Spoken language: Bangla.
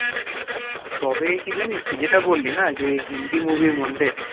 তবে কি জানিস তুই যেটা বললি না যে হিন্দি movie এর মধ্যে